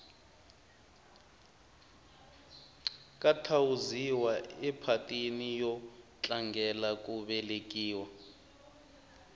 ka thawuziwa ephatini yo tlangela ku velekiwa